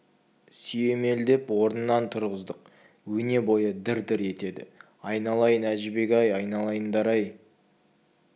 сүйемелдеп орнынан тұрғыздық өне бойы дір-дір етеді айналайын әжібек-ай айналайындар-ай